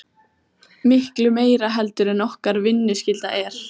Miklu meira heldur en okkar vinnuskylda er?